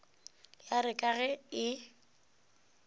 ya re ka ge e